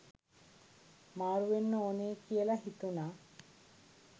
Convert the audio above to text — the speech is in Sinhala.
මාරු‍ වෙන්න ඕනෙ කියල හිතුන.